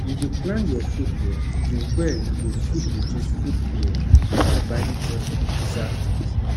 if you plan your food well you well you go fit reduce food bill by buying just the exact things